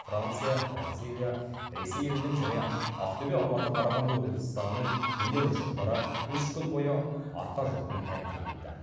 франция бразилия ресей елінің және ақтөбе алматы қарағанды облыстарының өнер ұжымдары үш күн бойы арқа жұртын тәнті етті